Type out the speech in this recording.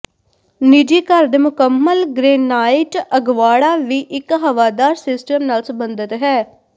ਨਿੱਜੀ ਘਰ ਦੇ ਮੁਕੰਮਲ ਗ੍ਰੇਨਾਈਟ ਅਗਵਾੜਾ ਵੀ ਇੱਕ ਹਵਾਦਾਰ ਸਿਸਟਮ ਨਾਲ ਸਬੰਧਤ ਹੈ